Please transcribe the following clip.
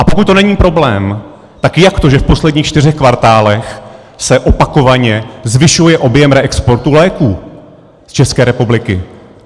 A pokud to není problém, tak jak to, že v posledních čtyřech kvartálech se opakovaně zvyšuje objem reexportu léků z České republiky?